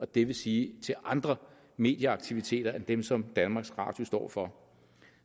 det vil sige til andre medieaktiviteter end dem som danmarks radio står for